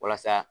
Walasa